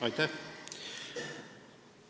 Aitäh!